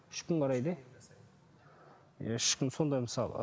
үш күн қарайды иә үш күн сондай мысалы